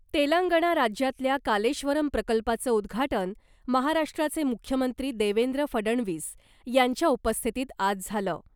तेलंगणा राज्यातल्या कालेश्वरम प्रकल्पाचं उद्घाटन महाराष्ट्राचे मुख्यमंत्री देवेंद्र फडणवीस यांच्या उपस्थितीत आज झालं .